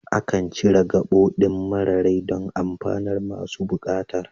Akan cire gabo ɗin mara rai don amfanar masu buƙatar